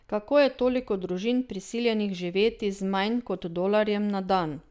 Kako je toliko družin prisiljenih živeti z manj kot dolarjem na dan?